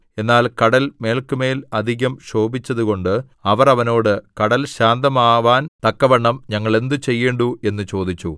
എന്നാൽ കടൽ മേല്ക്കുമേൽ അധികം ക്ഷോഭിച്ചതുകൊണ്ട് അവർ അവനോട് കടൽ ശാന്തമാവാൻ തക്കവണ്ണം ഞങ്ങൾ എന്ത് ചെയ്യേണ്ടു എന്ന് ചോദിച്ചു